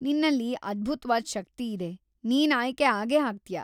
ನಿನ್ನಲ್ಲಿ ಅದ್ಭುತ್ವಾದ್ ಶಕ್ತಿ ಇದೆ, ನೀನ್ ಆಯ್ಕೆ ಆಗೇ ಆಗ್ತೀಯ.